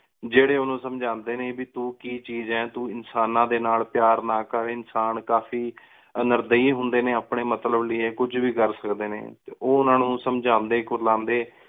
ਜੇਦੇ ਉਨੂ ਸਮਜਾਂਦੇ ਨੇ ਵੀ ਤੂੰ ਕਿ ਚੀਜ਼ ਅ, ਤੂੰ ਇਨਸਾਨਾ ਦੇ ਨਾਲ ਪ੍ਯਾਰ ਨਾ ਕਰ, ਇਨਸਾਨ ਕਾਫੀ ਨਿਰਦਈ ਹੁੰਦੇ ਨੇ, ਅਪਣੇ ਮਤਲਬ ਲੈ ਕੁਜ ਵੀ ਕਰ ਸਕਦੇ ਨੇ। ਤੇ ਉਹ ਊਨਾ ਨੂੰ ਸਮਜਾਉਂਦੇ ਕੁਲਾਂਦੇ